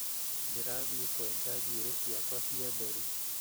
Ndĩrathiĩ kũenja njũĩrĩ ciakwa cia nderu